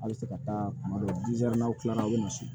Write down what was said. Halisa ka taa tuma dɔ n'aw kilala aw bɛ misi